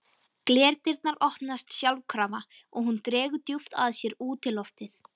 Glerdyrnar opnast sjálfkrafa og hún dregur djúpt að sér útiloftið.